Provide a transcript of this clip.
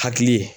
Hakili ye